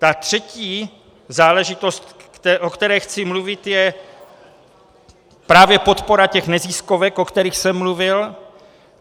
Ta třetí záležitost, o které chci mluvit, je právě podpora těch neziskovek, o kterých jsem mluvil.